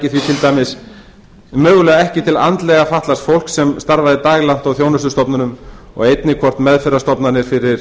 því til dæmis ekki til andlega fatlaðs fólks sem starfaði daglangt á þjónustustofnunum og einnig hvort meðferðarstofnanir fyrir